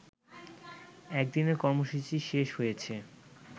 একদিনের কর্মসূচী শেষ হয়েছে